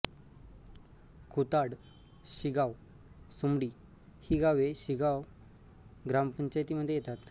खुताड शिगाव सुमडी ही गावे शिगाव ग्रामपंचायतीमध्ये येतात